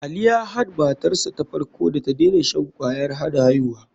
Ali ya han matarsa ta farko da tadena shan kwayar hana aihuwa.